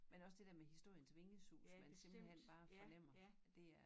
Men også det dér med historiens vingesus man simpelthen bare fornemmer det er